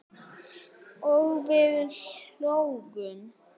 og við hlógum.